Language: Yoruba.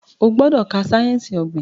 Ogbodo ká sáyẹnsì ogbin!